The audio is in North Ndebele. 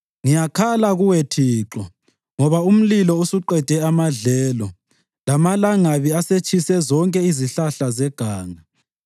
Ngiyakhala kuwe Thixo, ngoba umlilo usuqede amadlelo lamalangabi asetshise zonke izihlahla zeganga.